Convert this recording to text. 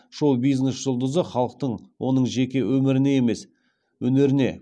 шоу бизнес жұлдызы халықтың оның жеке өміріне емес өнеріне